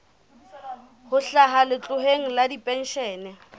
ho hlaha letloleng la dipenshene